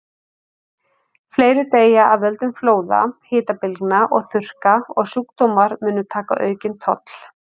Fleiri deyja af völdum flóða, hitabylgna og þurrka, og sjúkdómar munu taka aukinn toll.